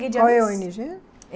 Qual é a ó ene gê?